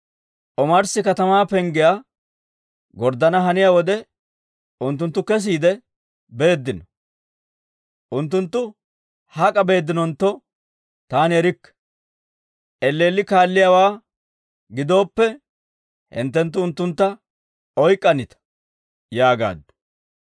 Omarssi katamaa penggiyaa gorddana haniyaa wode, unttunttu kesiide beeddino; unttunttu hak'a beeddinontto taani erikke. Elleelli kaalliyaawaa gidooppe, hinttenttu unttuntta oyk'k'anita» yaagaaddu.